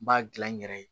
N b'a dilan n yɛrɛ ye